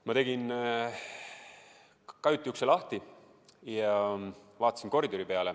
Ma tegin kajuti ukse lahti ja vaatasin koridori.